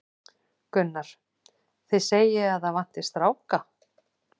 Gunnar: Þið segið að það vanti stráka?